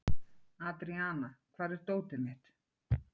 Andríana, hvar er dótið mitt?